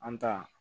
An ta